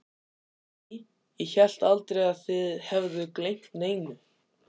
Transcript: Nei, ég hélt aldrei að þið hefðuð gleymt neinu.